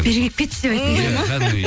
бері келіп кетші деп айтқың келеді ме